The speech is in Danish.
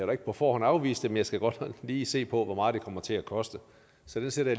da ikke på forhånd afvise det men jeg skal godt nok lige se på hvor meget det kommer til at koste så det sætter